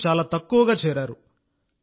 ప్రజలు చాలా తక్కువగా చేరారు